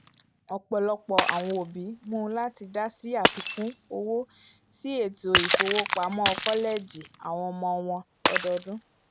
ọpọlọpọ awọn obi mú lati dasi àfikún òwò si ètó ifowopamọ kọlẹẹjì awọn ọmọ wọn lọ́dọọdún